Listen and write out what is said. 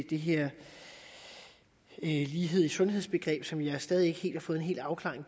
det her lighed i sundheds begreb som jeg stadig ikke helt har fået afklaring